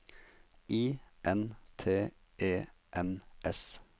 I N T E N S